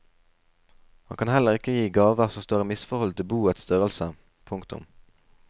Han kan heller ikke gi gaver som står i misforhold til boets størrelse. punktum